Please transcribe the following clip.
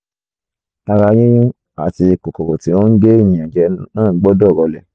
ara yíyún àti kòkòrò tí ó ń gé ènìyàn jẹ náà gbọdọ̀ rọlẹ̀